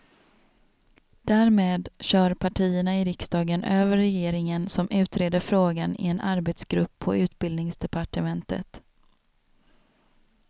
Därmed kör partierna i riksdagen över regeringen som utreder frågan i en arbetsgrupp på utbildningsdepartementet.